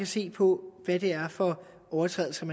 se på hvad det er for overtrædelser